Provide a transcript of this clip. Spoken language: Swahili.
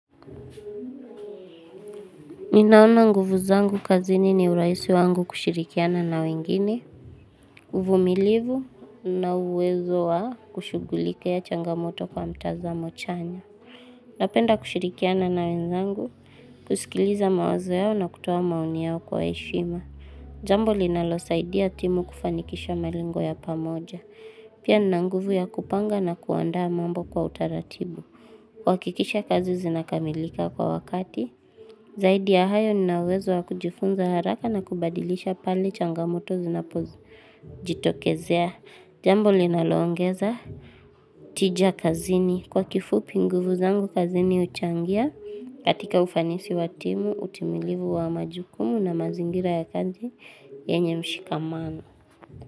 Ninaona nguvu zangu kazini ni urahisi wangu kushirikiana na wengine, uvumilivu na uwezo wa kushughulikia changamoto kwa mtazamo chanya. Napenda kushirikiana na wenzangu, kusikiliza mawazo yao na kutoa maoni yao kwa heshima. Jambo linalosaidia timu kufanikisha malengo ya pamoja. Pia nina nguvu ya kupanga na kuanda mambo kwa utaratibu. Kuhakikisha kazi zinakamilika kwa wakati, zaidi ya hayo nina uwezo wa kujifunza haraka na kubadilisha pale changamoto zinapozijitokezea, jambo linaloongeza, tija kazini, kwa kifupi nguvu zangu kazini huchangia, katika ufanisi wa timu, utimilivu wa majukumu na mazingira ya kazi yenye mshikamano.